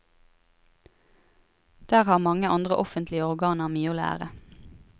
Der har mange andre offentlige organer mye å lære.